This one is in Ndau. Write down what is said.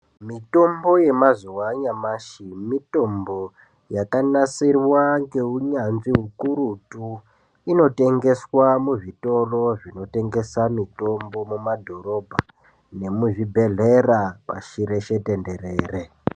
Mitombo yemazuwa anyamashi mitombo yakanasirwa neunyanzvi ukurutu inotengeswa muzvitoro zvinotengesa mutombo mumadhorobha nemuzvibhedhlera pasi reshe tenderere.